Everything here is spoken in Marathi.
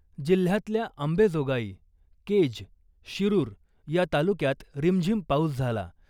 जिल्ह्यातल्या अंबेजोगाई , केज , शिरूर या तालुक्यात रिमझीम पाऊस झाला .